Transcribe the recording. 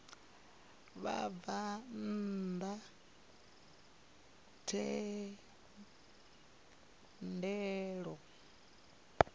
ya ṋea vhabvann ḓa thendelo